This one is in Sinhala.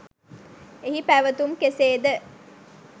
එහි පැවතුම් කෙසේද